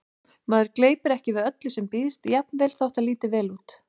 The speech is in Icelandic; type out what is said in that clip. Maður gleypir ekki við öllu sem býðst, jafnvel þótt það líti vel út